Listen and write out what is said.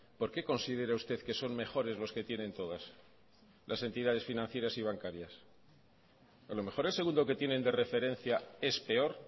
por qué considera usted que son mejores los que tienen todas las entidades financieras y bancarias a lo mejor el segundo que tienen de referencia es peor